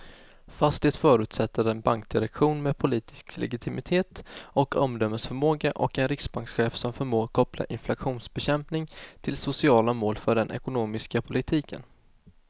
Fast det förutsätter en bankdirektion med politisk legitimitet och omdömesförmåga och en riksbankschef som förmår koppla inflationsbekämpning till sociala mål för den ekonomiska politiken.